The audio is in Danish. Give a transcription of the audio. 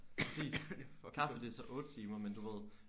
Præcis kaffe det er så 8 timer men du ved